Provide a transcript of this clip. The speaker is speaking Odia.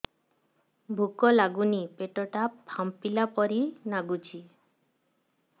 ଭୁକ ଲାଗୁନି ପେଟ ଟା ଫାମ୍ପିଲା ପରି ନାଗୁଚି